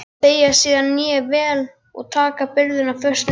Beygja síðan hné vel og taka byrðina föstum tökum.